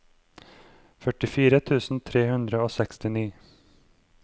førtifire tusen tre hundre og sekstini